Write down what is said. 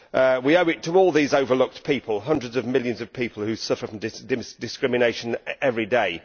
We owe it to all these overlooked people, hundreds of millions of people, who suffer from discrimination every day.